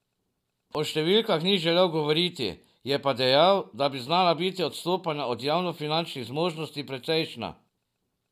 O številkah ni želel govoriti, je pa dejal, da bi znala biti odstopanja od javnofinančnih zmožnosti precejšnja.